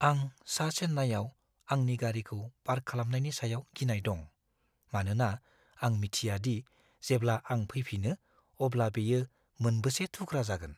आं सा-चेन्नाईयाव आंनि गारिखौ पार्क खालामनायनि सायाव गिनाय दं, मानोना आं मिथिया दि जेब्ला आं फैफिनो अब्ला बेयो मोनबेसे थुख्रा जागोन।